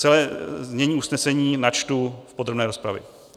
Celé znění usnesení načtu v podrobné rozpravě.